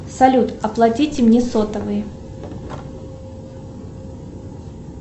салют оплатите мне сотовый